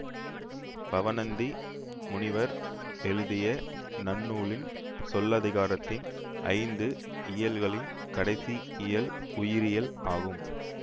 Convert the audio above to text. பவணந்தி முனிவர் எழுதிய நன்னூலின் சொல்லதிகாரத்தின் ஐந்து இயல்களில் கடைசி இயல் உரியியல் ஆகும்